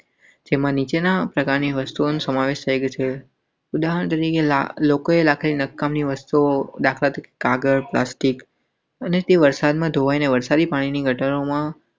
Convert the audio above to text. જેમાં નીચેના પ્રકારની વસ્તુઓનો સમાવેશ થાય છે. ઉદાહરણ તરીકે લોકોએ લાખની નકામી વસ્તુઓ કાગળ પ્લાસ્ટીક. અને વરસાદી પાણીની ગટરમાં.